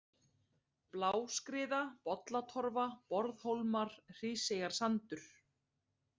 Bláskriða, Bollatorfa, Borðhólmar, Hríseyjarsandur